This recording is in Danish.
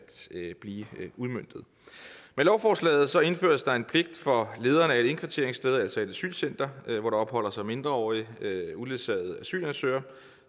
blive udmøntet med lovforslaget indføres der en pligt for lederen af et indkvarteringssted altså et asylcenter hvor der opholder sig mindreårige uledsagede asylansøgere